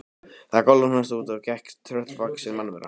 Það galopnaðist og út gekk tröllvaxin mannvera.